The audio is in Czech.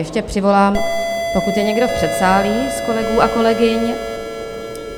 Ještě přivolám, pokud je někdo v předsálí z kolegů a kolegyň.